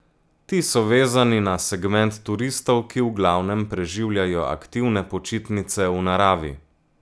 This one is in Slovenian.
Ti so vezani na segment turistov, ki v glavnem preživljajo aktivne počitnice v naravi.